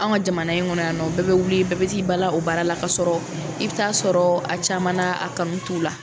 Anw ka jamana in kɔnɔ yan nɔ, bɛɛ bɛ wuli bɛɛ bɛ t'i bala o baara la k'a sɔrɔ i bɛ ta'a sɔrɔ a caman na, a kanu t'u la.